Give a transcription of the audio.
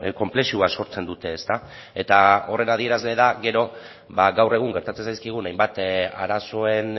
konplexua sortzen dute eta horren adierazle da gero gaur egun gertatzen zaizkigun hainbat arazoen